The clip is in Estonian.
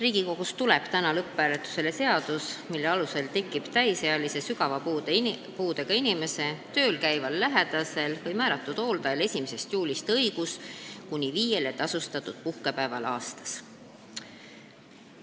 Riigikogus tuleb täna lõpphääletusele seadus, mille alusel tekib täisealise sügava puudega inimese tööl käival lähedasel või määratud hooldajal 1. juulist õigus kuni viiele tasustatud puhkepäevale aastas.